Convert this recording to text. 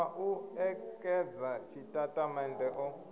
a u ṋekedza tshitatamennde o